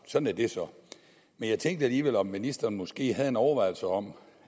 sådan er det så men jeg tænkte alligevel om ministeren måske har en overvejelse om